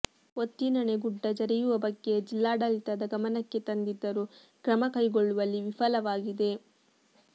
ಒತ್ತಿನಣೆ ಗುಡ್ಡ ಜರಿಯುವ ಬಗ್ಗೆ ಜಿಲ್ಲಾಡಳಿತದ ಗಮನಕ್ಕೆ ತಂದಿದ್ದರೂ ಕ್ರಮ ಕೈಗೊಳ್ಳುವಲ್ಲಿ ವಿಫಲವಾಗಿದೆ